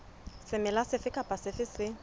semela sefe kapa sefe se